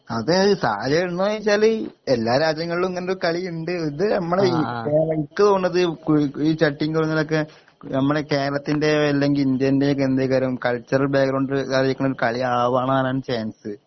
അതെ സാഹചര്യണ്ടൊന്ന് ചോയിച്ചാല് എല്ലാ രാജ്യങ്ങൾലും ഇങ്ങനൊര് കളിയിണ്ട് ഇത് നമ്മളെ ഈ ഇനിക്ക് തോന്നുന്നത് കുഴി ഈ ചട്ടിങ്കോലൊക്കെ നമ്മളെ കേരളത്തിൻ്റെ അല്ലെങ്കി ഇന്ത്യൻ്റെക്കെന്തേക്കാരം കൾച്ചറൽ ബാക്ഗ്രൗണ്ടില് കളിയാവാനാണ് ചാൻസ്